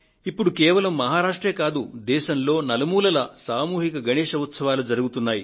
ఇప్పుడు ఒక్క మహారాష్ట్ర లో మాత్రమే కాదు దేశంలో నలుమూలలా సామూహిక గణేశ్ ఉత్సవాలు జరుగుతున్నాయి